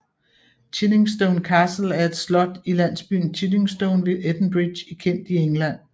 Chiddingstone Castle er et slot i landsbyen Chiddingstone ved Edenbridge i Kent i England